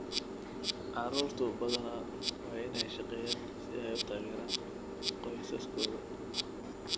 Carruurtu badanaa waa inay shaqeeyaan si ay u taageeraan qoysaskooda.